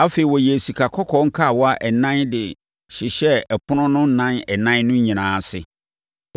Afei, ɔyɛɛ sikakɔkɔɔ nkawa ɛnan na ɔde hyehyɛɛ ɛpono no nan ɛnan no nyinaa ase.